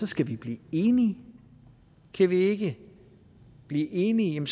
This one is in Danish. skal vi blive enige kan vi ikke blive enige